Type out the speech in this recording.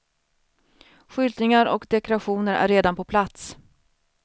Skyltningar och dekorationer är redan på plats.